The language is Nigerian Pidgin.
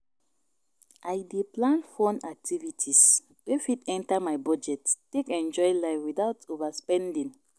I dey plan fun activities wey fit enter my budget take enjoy life without overspending.